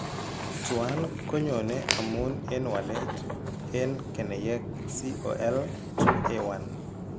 Tuan konyoone amun en walet en keneyeek COL2A1.